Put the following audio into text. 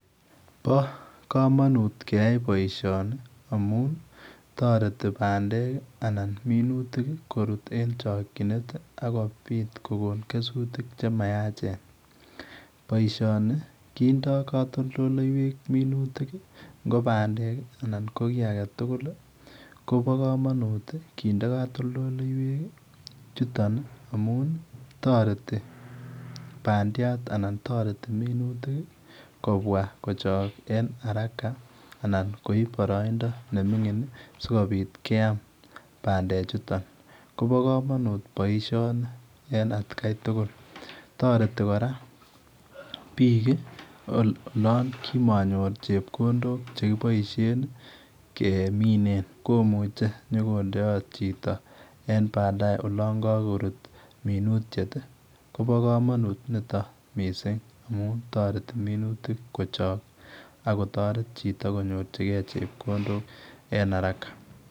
Bo kamanut keyai boisioni amuun taretii pandeek anan minutiik ii koruut en chakyineet akobiit kogoon kesutiik che mayacheen, Boisioni kindaa katoltoleiweek minutiik ngo pandeek ii anan tuguuk alaak kobaa kamanuut ii kindee katoltoleiweek ii chutoon ii amuun taretii pandeek anan taretii minutik ii kobwaa kochaang en haraka anan koib minutik che mingiin ii sikobiit, keyaam pandeek chutoon kobaa kamanuut boisioni en at Kai tugul Taretii kora biik olaan kimanyoor chepkondook chekibaisheen kemine komuchei inyokondeyat chitoo en baadaye olaan kagoruut minutiet ii kobaa kamanuut nitoon missing amuun taretii minutik kochaang ak kotaret chitoo konyoorjigei chepkondook en haraka.